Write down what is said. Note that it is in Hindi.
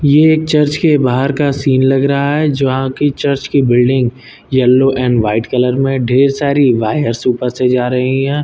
ये एक चर्च के बाहर का सीन लग रहा है जहां की चर्च की building yellow and white colour में ढेर सारी वायर्स ऊपर से जा रही हैं।